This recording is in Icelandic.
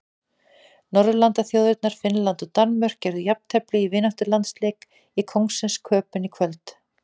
Norðurlandaþjóðirnar Finnland og Danmörk gerðu jafntefli í vináttulandsleik í Kóngsins Köben í kvöld.